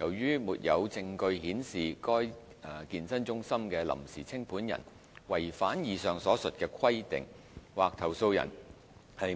由於沒有證據顯示該健身中心的臨時清盤人違反以上所述的規定，或投訴人